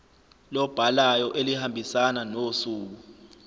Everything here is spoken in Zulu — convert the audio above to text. lobhalayo elihambisana nosuku